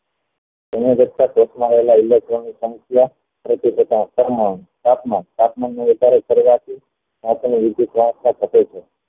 electron ની સંખ્યા તાપમાન ના વધારે કરવાથી